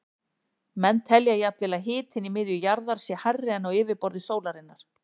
Menn telja jafnvel að hitinn í miðju jarðar sé hærri en á yfirborði sólarinnar.